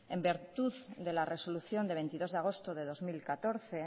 en virtud de la resolución de veintidós de agosto de dos mil catorce